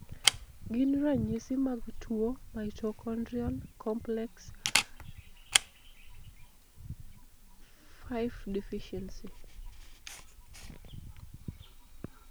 Gin ranyisis mag tuo Mitochondrial complex IV deficiency?